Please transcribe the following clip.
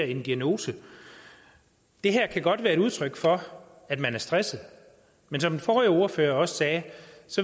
en diagnose det her kan godt være et udtryk for at man er stresset men som den forrige ordfører også sagde